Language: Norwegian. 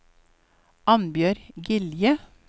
Annbjørg Gilje